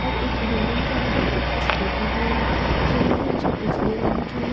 और एक बिल्डिंग के आगे एक अस्कूटी भी खड़ी है जो उजले रंग की है।